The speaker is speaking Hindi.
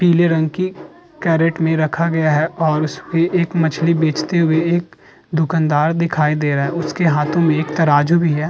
पीले रंग की कैरेट में रखा गया है और उसपे एक मछली बेचते हुए एक दुकानदार दिखाई दे रहे है। उसके हाथो में एक तराजू भी है।